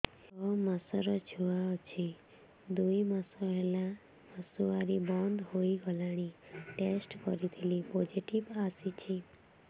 ଛଅ ମାସର ଛୁଆ ଅଛି ଦୁଇ ମାସ ହେଲା ମାସୁଆରି ବନ୍ଦ ହେଇଗଲାଣି ଟେଷ୍ଟ କରିଥିଲି ପୋଜିଟିଭ ଆସିଛି